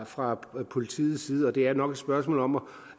fra politiets side og det er nok et spørgsmål om